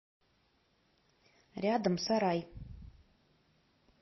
рядом сарай